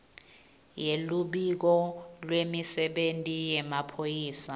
yeluphiko lwemisebenti yemaphoyisa